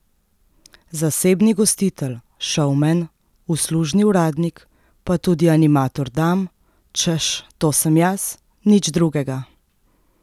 Zasebni gostitelj, šovmen, uslužni uradnik, pa tudi animator dam, češ, to sem jaz, nič drugega!